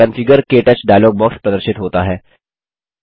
configure - क्टच dialog box प्रदर्शित होता है